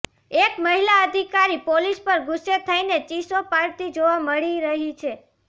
એક મહિલા અધિકારી પોલીસ પર ગુસ્સે થઈને ચીસો પાડતી જોવા મળી રહી છે